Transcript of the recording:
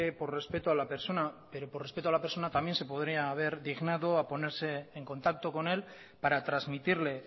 por respeto a la persona pero por respeto a la persona también se podría haber dignado a ponerse en contacto con él para transmitirle